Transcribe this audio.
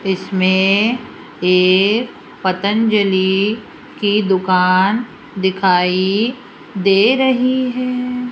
इसमें एक पतंजलि की दुकान दिखाई दे रही है।